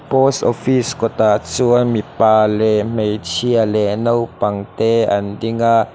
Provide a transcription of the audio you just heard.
post office kawtah chuan mipa leh hmeichia leh naupang te an dinga.